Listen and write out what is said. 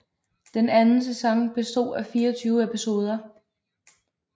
Den anden sæson bestod af 24 episoder